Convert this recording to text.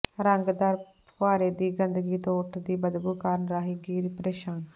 ਰੰਗਦਾਰ ਫੁਹਾਰੇ ਦੀ ਗੰਦਗੀ ਤੋਂ ਉਠਦੀ ਬਦਬੂ ਕਾਰਨ ਰਾਹਗੀਰ ਪ੍ਰੇਸ਼ਾਨ